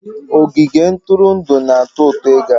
Ogige ntụrụndụ na-atọ ụtọ ịga